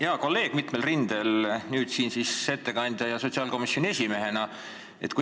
Hea kolleeg mitmel rindel, nüüd siis ettekandja ja sotsiaalkomisjoni esimehena!